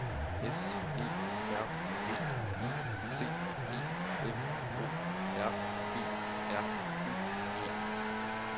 S E R V I C E F O R B R U G